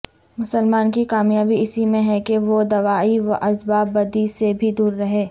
مسلمان کی کامیابی اسی میں ہے کہ وہ دواعی واسباب بدی سے بھی دوررہے